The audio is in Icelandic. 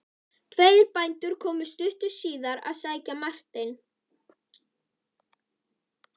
Tveir bændur komu stuttu síðar að sækja Martein.